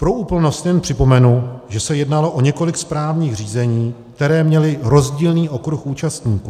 Pro úplnost jen připomenu, že se jednalo o několik správních řízení, která měla rozdílný okruh účastníků.